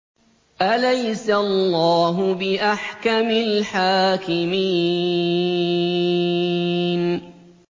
أَلَيْسَ اللَّهُ بِأَحْكَمِ الْحَاكِمِينَ